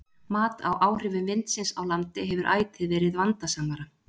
Mat á áhrifum vindsins á landi hefur ætíð verið vandasamara.